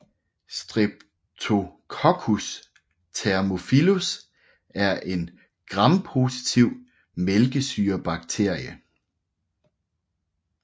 Streptococcus thermophilus er en grampositiv mælkesyrebakterie